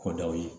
K'o daw ye